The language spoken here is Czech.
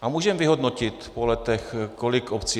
A můžeme vyhodnotit po letech, kolik obcí...